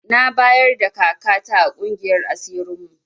Na bayarda kaka ta a ƙungiyar asirin mu